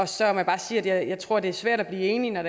så må jeg bare sige at jeg tror det er svært at blive enig når